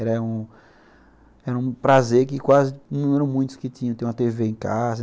Era um era um prazer que quase não eram muitos que tinham, ter uma tê vê em casa.